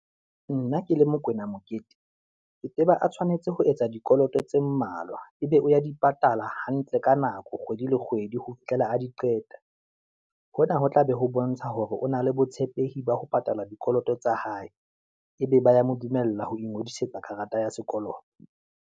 Nna ke le Mokwena Mokete, ke tseba a tshwanetse ho etsa dikoloto tse mmalwa, ebe o ya di patala hantle ka nako kgwedi le kgwedi ho fihlela a di qeta. Hona ho tla be ho bontsha hore o na le botshepehi ba ho patala dikoloto tsa hae. Ebe ba ya mo dumella ho ingodisetsa karata ya sekoloto.